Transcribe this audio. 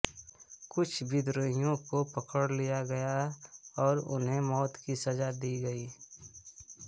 कुछ विद्रोहियों को पकड़ लिया गया और उन्हें मौत की सजा दी गई